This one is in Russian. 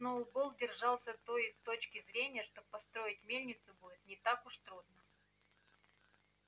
сноуболл держался той точки зрения что построить мельницу будет не так уж трудно